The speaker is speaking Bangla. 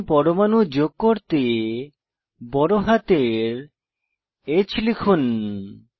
বড় হাতের h টিপুন